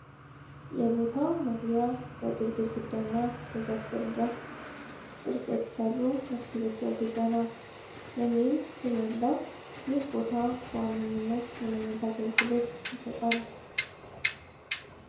የቦታው መግቢያ በጡብ ግድግዳና በዛፍ ቅርንጫፍ ቅርጽ በተሠሩ መስኮቶች ያጌጠ ነው። የሚል ስም ያለው ይህ ቦታ በዋነኝነት ምን ዓይነት አገልግሎት ይሰጣል?